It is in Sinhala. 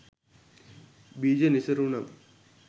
බීජ නිසරුනම්